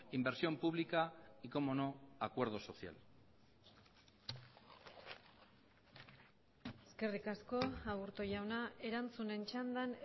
inversión pública y como no acuerdo social eskerrik asko aburto jauna erantzunen txandan